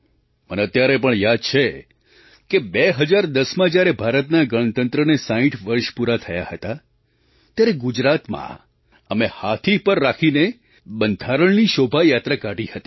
મને અત્યારે પણ યાદ છે કે 2010માં જ્યારે ભારતના ગણતંત્રને 60 વર્ષ પૂરાં થયાં હતાં ત્યારે ગુજરાતમાં અમે હાથી પર રાખીને બંધારણની શોભાયાત્રા કાઢી હતી